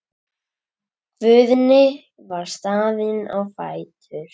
Guðni var staðinn á fætur.